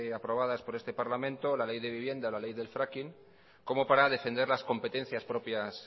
aprobadas por este parlamento la ley de vivienda y la ley del fracking como para defender las competencias propias